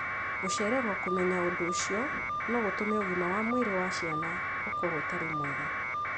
Gũcererwo kũmenya ũndũ ũcio no gũtũme ũgima wa mwĩrĩ wa ciana ũkorũo ũtarĩ mwega.